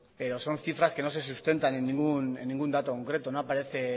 pero son cifras que no se sustentan en ningún dato concreto no aparece